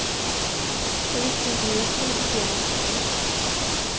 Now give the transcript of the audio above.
Jag visste inte hur jag skulle bete mig.